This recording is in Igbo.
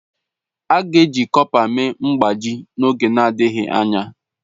A gaghị eji kọpa mee mgbájí n'oge adịghị anya.